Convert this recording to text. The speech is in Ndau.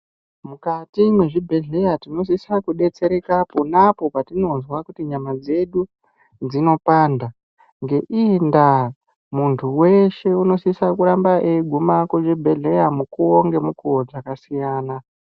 Mukati mwezvibhedhleya tinosisa kudetsereka ponapo patinozwa kuti nyama dzedu dzinopanda, ngeiyi ndaa muntu weshe unosise kuramba eigume kuzvibhedhleya mukuwo ngemukuwo dzakasiyana.